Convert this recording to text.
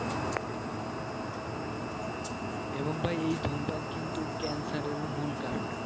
এবং ভাই এই ধূমপান কিন্তু cancer এরও মূল কারণ